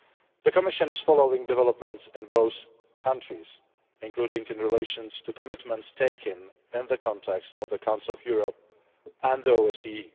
The Commission is following developments in both countries, including in relation to commitments taken in the context of the Council of Europe and the OSCE.